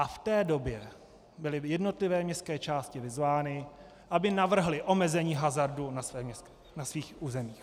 A v té době byly jednotlivé městské části vyzvány, aby navrhly omezení hazardu na svých územích.